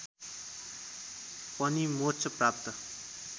पनि मोक्ष प्राप्त